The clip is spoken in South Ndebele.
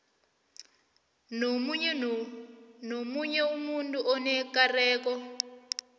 nomunye umuntu onekareko